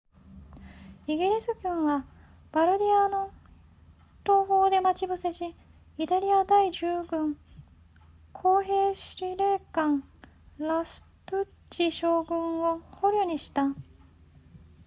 イギリス軍はバルディアの東方で待ち伏せしイタリア第10軍工兵司令官ラストゥッチ将軍を捕虜にした